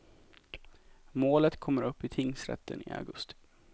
Målet kommer upp i tingsrätten i augusti.